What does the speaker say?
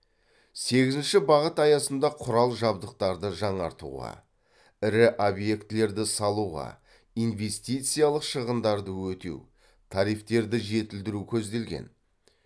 сегізінші бағыт аясында құрал жабдықтарды жаңартуға ірі объектілерді салуға инвестициялық шығындарды өтеу тарифтерді жетілдіру көзделген